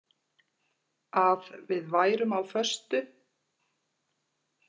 Að við værum á föstu.